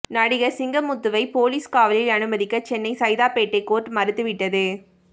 நடிகர் சிங்கமுத்துவை போலீஸ் காவலில் அனுமதிக்க சென்னை சைதாப்பேட்டை கோர்ட் மறுத்து விட்டது